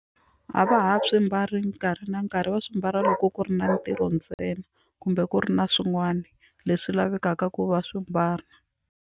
A va ha swi mbali nkarhi na nkarhi va swi mbala loko ku ri na ntirho ntsena kumbe ku ri na swin'wana leswi lavekaka ku va swi mbala.